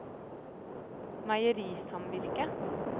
meierisamvirket